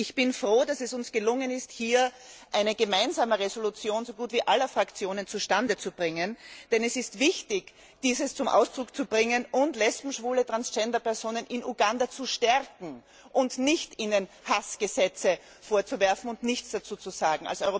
Ich bin froh, dass es uns gelungen ist, hierzu eine Gemeinsame Entschließung so gut wie aller Fraktionen zustandezubringen, denn es ist wichtig, dies zum Ausdruck zu bringen und Lesben, Schwule und Transgenderpersonen in Uganda zu stärken, und ihnen nicht Hassgesetze vorzuwerfen und nichts dazu zu sagen.